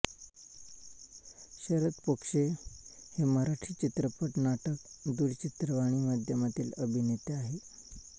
शरद पोंक्षे हे मराठी चित्रपट नाटक दूरचित्रवाणी माध्यमांतील अभिनेते आहेत